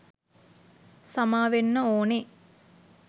සමාවෙන්න ඕන.